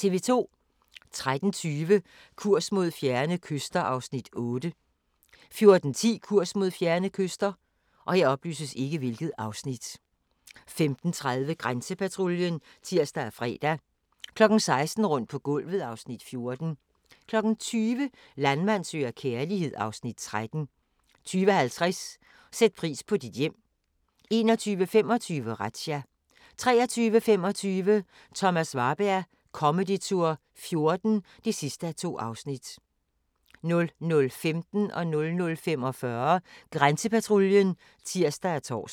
13:20: Kurs mod fjerne kyster (Afs. 8) 14:10: Kurs mod fjerne kyster 15:30: Grænsepatruljen (tir og fre) 16:00: Rundt på gulvet (Afs. 14) 20:00: Landmand søger kærlighed (Afs. 13) 20:50: Sæt pris på dit hjem 21:25: Razzia 23:25: Thomas Warberg Comedy Tour '14 (2:2) 00:15: Grænsepatruljen (tir og tor) 00:45: Grænsepatruljen (tir og tor)